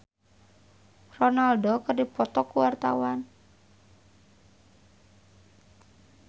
Herjunot Ali jeung Ronaldo keur dipoto ku wartawan